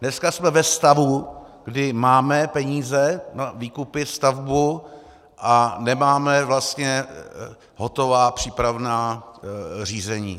Dneska jsme ve stavu, kdy máme peníze na výkupy, stavbu, a nemáme vlastně hotová přípravná řízení.